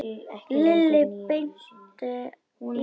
Lilli benti í þá átt.